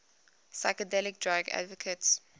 psychedelic drug advocates